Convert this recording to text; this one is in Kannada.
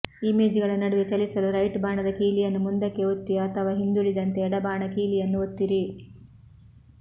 ಇಮೇಜ್ಗಳ ನಡುವೆ ಚಲಿಸಲು ರೈಟ್ ಬಾಣದ ಕೀಲಿಯನ್ನು ಮುಂದಕ್ಕೆ ಒತ್ತಿ ಅಥವಾ ಹಿಂದುಳಿದಂತೆ ಎಡ ಬಾಣ ಕೀಲಿಯನ್ನು ಒತ್ತಿರಿ